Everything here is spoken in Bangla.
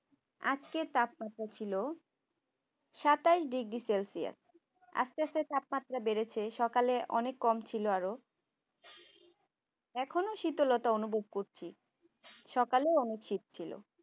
আজকের তাপমাত্রা ছিল সাতাশ ডিগ্রি সেলসিয়া আস্তে আস্তে তাপমাত্রা বেড়েছে সকালে অনেক কম ছিল আরো এখনো শীতলতা অনুভব করছি সকালেও অনেক শীত ছিল